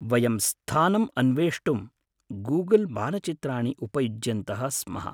वयं स्थानम् अन्वेष्टुं गूगल् मानचित्राणि उपयुज्यन्तः स्म।